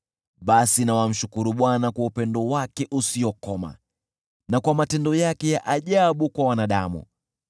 Basi na wamshukuru Bwana kwa upendo wake usiokoma, na kwa matendo yake ya ajabu kwa wanadamu.